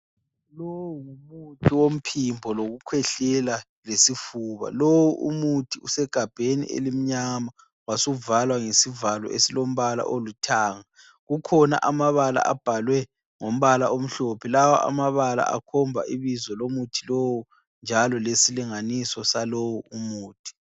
Lo ngumuthi womphimbo lokukhwehlela lesifuba. Lowu umuthi usegabheni elimnyama wasuvalwa ngesivalo esilombala olithanga. Kukhona amabala abhalwe ngombala omhlophe lawa amabala akhomba ibizo lomuthi lowu njalo lesilinganiso salowo muthi.